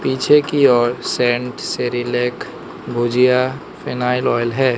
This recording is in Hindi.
पीछे की ओर scent Cerelac bhujia phenyl oil है।